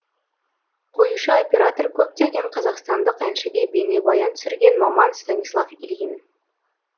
қоюшы оператор көптеген қазақстандық әншіге бейнебаян түсірген маман станислав ильин